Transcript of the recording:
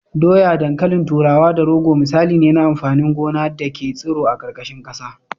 Dawa, dankalin turawa da rogo misalai ne na amfanin gona da ke tsiro a ƙarƙashin ƙasa.